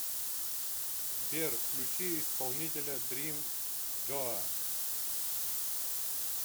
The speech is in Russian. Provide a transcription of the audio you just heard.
сбер включи исполнителя дрим гоа